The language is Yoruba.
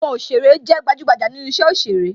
Àwọn òsèrè ó jé gbajugbaja nínú isẹ òsèré